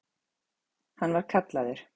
Hann var kallaður